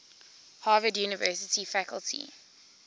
harvard university faculty